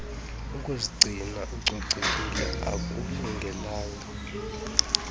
ukuzigcina ucocekile akulungelanga